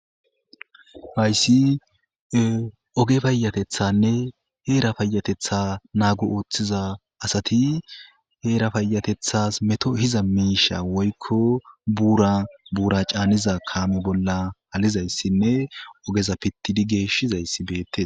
Hayssi oge fayatethanne heera fayatetha naagu ooththiza asati heera fayatethas meto hiza miisha woykko buura buura caaniza kaame bolla halizayssinne ogeza pittidi geeshshizayssi beette.